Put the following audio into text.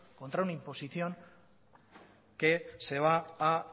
contra una imposición que se va